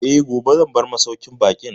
Eh, gobe zan bar masauƙin baƙin